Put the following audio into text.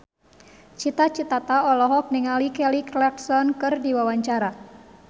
Cita Citata olohok ningali Kelly Clarkson keur diwawancara